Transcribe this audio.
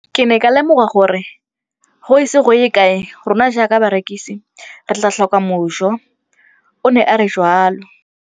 Ke ne ka lemoga gore go ise go ye kae rona jaaka barekise re tla tlhoka mojo, o ne a re jalo.